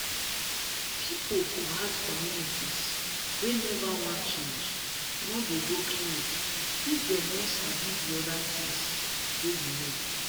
people for hard communities wey never wan change no dey go clinic if dem no sabi the other things wey you know